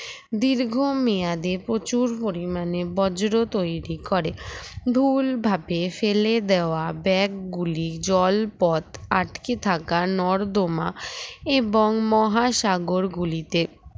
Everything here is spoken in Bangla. দীর্ঘমেয়াদে প্রচুর পরিমাণে বজ্র তৈরি করে ভুল ভাবে ফেলে দেওয়া bag গুলি জলপথ আটকে থাকা নর্দমা এবং মহাসাগর গুলিতে